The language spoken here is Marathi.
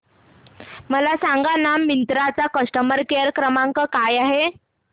मला सांगाना मिंत्रा चा कस्टमर केअर क्रमांक काय आहे